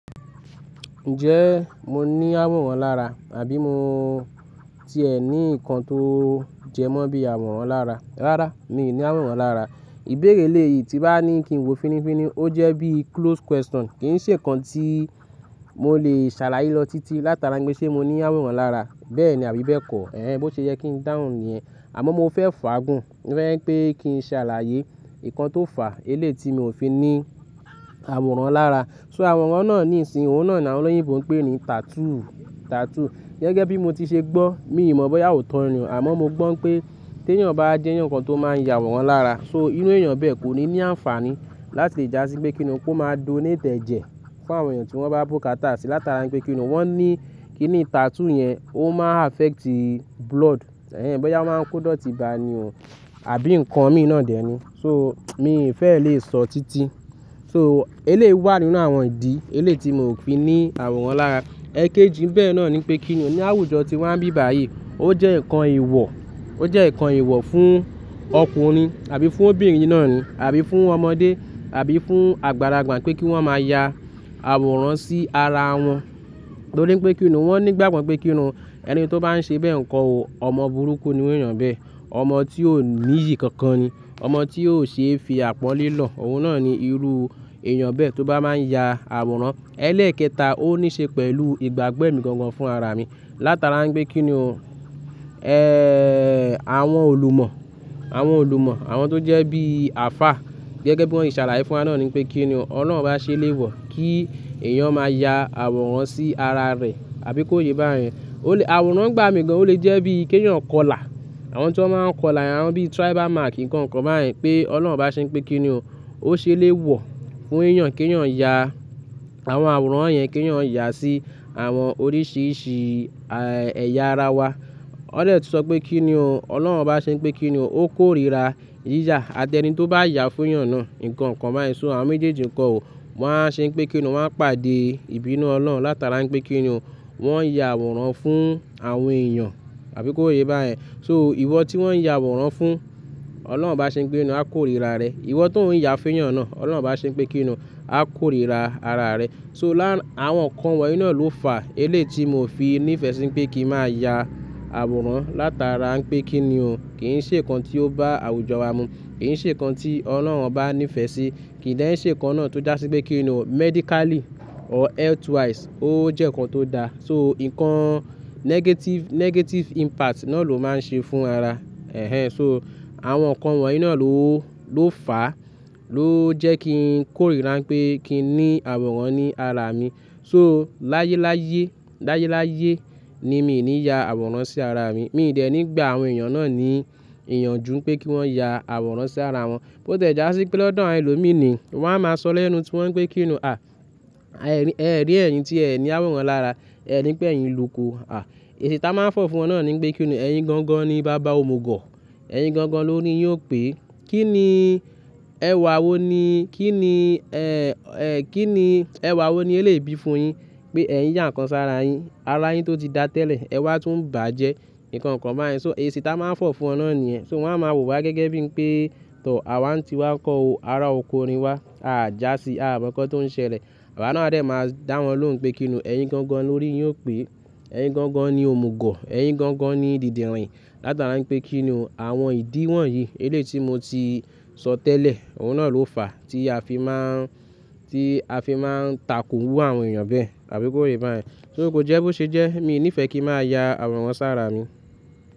Ǹjẹ́ mo ní àwòrán lára àbí mo ti ẹ ní nǹkan tó jẹmọ́ bí àwòrán lára? Rárá, mi ò ní àwòrán lára. Ìbéèrè eléyìí tí bá ní kí n wò fínífíní ó jẹ́ bí closed question kì ń ṣe nǹkan tí mo lè ṣàlàyé lọ títí látara pé ṣé mo ní àwòrán lára. Bẹ́ẹ̀ ni àbí bẹ́ẹ̀ kọ́. Ẹ̀hẹn, bó ṣe yẹ kí n dáhùn nìyẹn. Àmọ́ mo fẹ́ fàágùn, mo fẹ́ kí n ṣàlàyé nǹkan tó fà eléyìí tí mo ò fi ní àwòrán lára. So àwòrán náà ní ìsin, òun náà ni àwọn olóyìnbo ń pè ní tattoo, tattoo. Gẹ́gẹ́ bí mo ti ṣe gbọ́, mi ò mọ̀ bóyá ó tọ̀ni àmọ́ mo gbọ́ pé tí èèyàn bá jẹ́, eyan kan tó máa ń ya àwòrán lára. So irú èèyàn bẹ́ẹ̀ kò ní ní àǹfààní láti lè já sí pé kí ni ó máa kó donate ejẹ fún àwọn èèyàn tí wọ́n bá bókatá sí látara pé kí ni wọ́n ní kí ni tattoo yẹn ó máa affect blood. Bóyá ó máa ń kó dọ̀tí bà ni ò àbí nǹkan mí ìná dèé ni. So mi fẹ́ lè sọ títí. So eléwá nínú àwọn ìdí eléyìí tí mo ò fi ní àwòrán lára. Ẹ̀kéjì bẹ́ẹ̀ náà ni pé kí ni àwùjọ tí wọ́n bí báyìí ó jẹ́ nǹkan ewọ̀, ó jẹ́ nǹkan ìwọ̀ fún ọkùnrin àbí fún obìnrin náà ni àbí fún ọmọdé àbí fún àgbàlagbà pé kí wọ́n máa ya àwòrán sí ara wọn. Torí pé kí ni wọ́n ní ìgbàgbọ́ pé kí ni ẹni tí ó bá ń ṣe bẹ́ẹ̀ nǹkan ò ọmọ burúkú ni wọ́n yàn bẹ́ẹ̀. Ọmọ tí ò ní iyì kankan ni, ọmọ tí yóò ṣe é fi àpọ́nlé lọ. Òun náà ni irú èèyàn bẹ́ẹ̀ tó bá máa ń ya àwòrán. Ẹlẹ́ẹ̀kẹta ó ní ṣe pẹ̀lú ìgbàgbẹ́ nìkan gan fún ara mi látara pé kí ni, ẹ́, àwọn òlùmọ̀, àwọn òlùmọ̀, àwọn tó jẹ́ bí alfa. Gẹ́gẹ́ bí wọ́n ṣe ṣàlàyé fún wa náà ni pé kí ni Ọlọ́run bá ṣe lé wọ̀ kí èèyàn máa ya àwòrán sí ara rẹ̀ àbí kó yé bá yẹn. Ó lè, àwòrán gba mi gan, ó lè jẹ́ bí kí èèyàn kọlà. Àwọn tí wọ́n máa ń kọlà, àwọn bí tribal mark nǹkan kan bá yẹn pé Ọlọ́run bá ṣe pé kí ni ó ṣe lé wọ̀ fún èèyàn kí èèyàn ya àwọn àwòrán yẹn kí èèyàn yà sí àwọn oríṣìíríṣìí ẹ̀yà ara wa. wỌ̀ dẹ̀ tu sọ pé kí nio, Ọlọ́run bá ṣe pé kí ni ó kórìíra yíyà àti ẹni tí ó bá yà fún èèyàn náà nǹkan kan bá yẹn. So àwọn méjèèjì kan ò, wọ́n á ṣe pé kí ni wọ́n á pàdé ìbínú Ọlọ́run látara pé kí ni wọ́n ya àwòrán fún àwọn èèyàn àbí kó yé bá yẹn. So ìwọ tí wọ́n ya àwòrán fún, Ọlọ́run bá ṣe pé kí ni a kórìíra rẹ. Ìwọ tó ń yà fún èèyàn náà, Ọlọ́run bá ṣe pé kí ni a kórìíra ara rẹ. So lá, àwọn nǹkan wọ̀nyí náà ló fà eléyìí tí mo fi ní ìfẹ́ sí pé kí n máa ya àwòrán látara pé kí ni kì í ṣe nǹkan tí ó bá àwùjọ wa mu, kì í ṣe nǹkan tí Ọlọ́run bá ní ìfẹ́ sí, kì í dán ṣé nǹkan náà tó dà sí pé kí ni medically or healthwise ó jẹ́ nǹkan tó da. So nǹkan negative, negative impact náà ló máa ń ṣe fún ara. So àwọn nǹkan wọ̀nyí náà ló, ló fà, ló jẹ́ kí n kórìíra pé kí n ní àwòrán ní ara mi. So láyé láyé, láyé láyé ni mi ò ní ya àwòrán sí ara mi. Mi ò dẹ̀ ní gba àwọn èèyàn náà ní ìyanjú pé kí wọ́n ya àwòrán sí ara wọn. Bó tẹ́ já sí pé lọ́dọ̀ àwọn ẹlòmíràn ni wọ́n á máa sọ lẹ́nu tí wọ́n pé kí ni, ẹ́ rí, ẹ́ rí ẹ̀yin tí ẹ́ ní àwòrán lára, ẹ́ rí pé ẹ̀yin lóko. Èsì tí a máa ń fọ̀ fún wọn náà ni pé kí ni ẹ̀yin gangan ni baba ó mú gọ̀. Ẹ̀yin gangan ló ori yiò pé. Kí ni ẹwà wo ni, kí ni ẹ́, ẹ́, kí ni ẹwà wo ni elébi fún un yín pé ẹ̀yin jẹ́ nǹkan sára yín, ara yín tó ti dá tẹ́lẹ̀ ẹwà tó ń bàjẹ́ nǹkan kan bá yẹn. So èsì tí a máa ń fọ̀ fún wọn náà ni ẹ́. So wọ́n á máa wò wá gẹ́gẹ́ bí pé tọ̀ àwa tí wá kọ́ ara òkú orin wa, à já sí, à mọ̀ nǹkan tó ń ṣẹlẹ̀. Àwa náà rẹ́ máa dá wọn lóhùn pé kí ni ẹ̀yin gangan ló rí yóò pé. Ẹ̀yin gangan ni ómú gọ̀, ẹ̀yin gangan ni ìdìdìnrìn látara pé kí ni àwọn ìdí wọ̀nyí eléyìí tí mo ti sọ tẹ́lẹ̀, òun náà ló fà tí a fi máa ń, tí a fi máa ń takò irú àwọn èèyàn bẹ́ẹ̀ àbí kó yé bá yẹn. So bó jẹ́ bó ṣe jẹ́ mi ò ní ìfẹ́ kí n máa ya àwòrán sára mi.